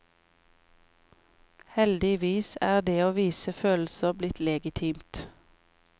Heldigvis er det å vise følelser blitt legitimt.